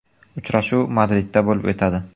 Uchrashuv Madridda bo‘lib o‘tadi.